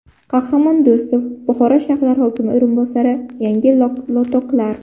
Qahramon Do‘stov, Buxoro shahar hokimi o‘rinbosari Yangi lotoklar.